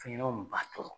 Fɛn ɲɛnɛmaw b'a tɔɔrɔ